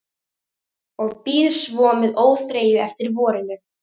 Og bíð svo með óþreyju eftir vorinu.